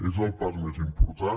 és el pas més important